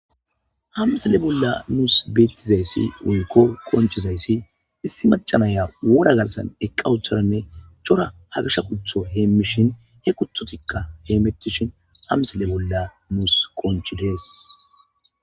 ha misile bolla nuus beettizayssi wiikko qonchizayssi issi macanaya wora galsan eqqa ucharanne cora hagasha kutho heemmishin he kuthutikka he mettishin hamsile bolla nuus qonchidees